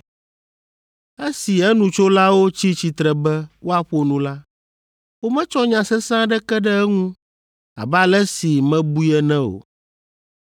Esi enutsolawo tsi tsitre be woaƒo nu la, wometsɔ nya sesẽ aɖeke ɖe eŋu, abe ale si mebui ene o,